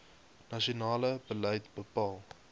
nasionale beleid bepaal